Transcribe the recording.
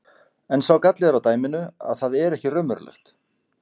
En sá galli er á dæminu að það er ekki raunverulegt.